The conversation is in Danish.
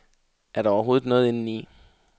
Er der overhovedet noget indeni?